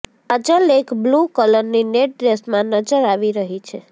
કાજલ એક બ્લૂ કરલની નેટ ડ્રેસમાં નજર આવી રહી છે